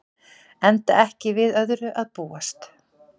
Enda ekki við öðru að búast